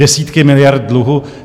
Desítky miliard dluhu?